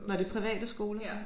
Var det private skoler så?